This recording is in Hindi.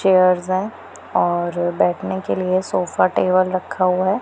चेयर्ज हैं और बैठने के लिए सोफा टेबल रखा हुआ है।